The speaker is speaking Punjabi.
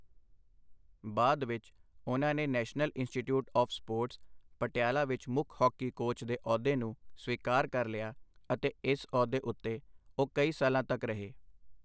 ਬਾਅਦ ਵਿੱਚ, ਉਹਨਾਂ ਨੇ National Institute of Sports, Patiala ਵਿੱਚ ਮੁੱਖ ਹਾਕੀ ਕੋਚ ਦੇ ਅਹੁਦੇ ਨੂੰ ਸਵੀਕਾਰ ਕਰ ਲਿਆ, ਅਤੇ ਇਸ ਅਹੁਦੇ ਉੱਤੇ ਉਹ ਕਈ ਸਾਲਾਂ ਤੱਕ ਰਹੇ।